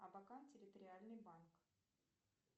абакан территориальный банк